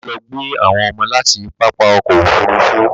Bàbá lọ gbé àwọn ọmọ láti pápá ọkọ̀ Òfurufú